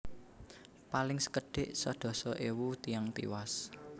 Paling sekedhik sedasa ewu tiyang tiwas